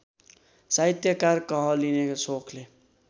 साहित्यकार कहलिने सोखले